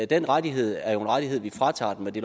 den rettighed er en rettighed vi fratager dem med det